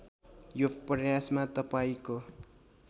यो प्रयासमा तपाईँको